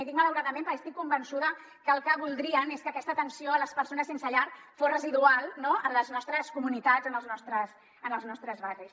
i dic malauradament perquè estic convençuda que el que voldrien és que aquesta atenció a les persones sense llar fos residual no en les nostres comunitats en els nostres barris